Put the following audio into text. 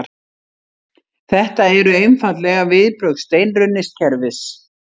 Þetta eru einfaldlega viðbrögð steinrunnins kerfis